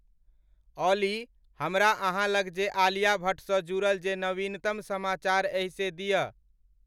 ऑली हमरा अहाँलंग जे आलिया भट्ट स जुड़ल जे नवीनतम समाचार एहि से दिया